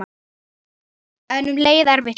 En um leið erfitt líka.